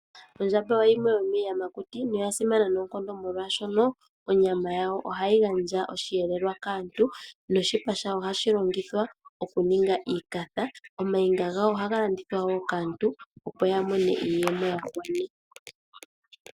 Ondjamba oyo yimwe yomi yamakuti noya simana noonkondo molwashoka onyama yawo ohayi gandja oshi yelelwa kaantu noshipa shawo ohashi longithwa okuninga iikatha, omayinga gawo ohaga landithwa kaantu opo ya mone iiyemo.